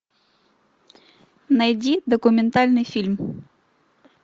найди документальный фильм